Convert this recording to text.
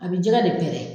A bɛ jɛgɛ de pɛrɛn